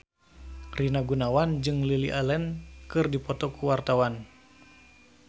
Rina Gunawan jeung Lily Allen keur dipoto ku wartawan